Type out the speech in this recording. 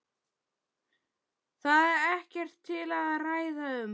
Það er ekkert til að ræða um.